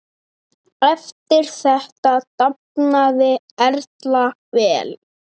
Eftir þetta dafnaði Erla vel.